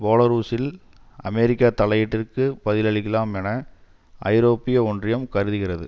பேலாருசில் அமெரிக்க தலையீட்டிற்கு பதிலளிக்கலாம் என ஐரோப்பிய ஒன்றியம் கருதுகிறது